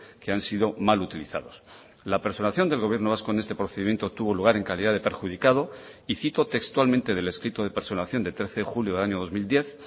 que han sido mal utilizados la personación del gobierno vasco en este procedimiento tuvo lugar en calidad de perjudicado y cito textualmente del escrito de personación de trece de julio del año dos mil diez